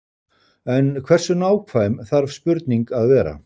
En hversu nákvæm þarf spurning að vera?